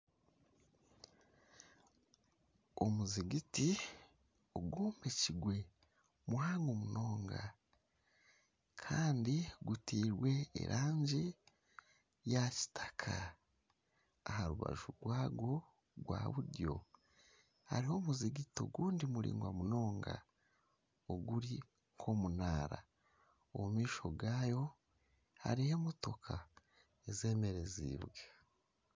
Omuziigiti ogw'omu kigwe muhango munonga kandi guteirwe erangi ya kitaka aha rubaju rwagwo gwa buryo hariho omuziigiti ogundi muraingwa munonga oguri nk'omunaara omu maisho gaayo hariyo emotooka ezemerezibwe.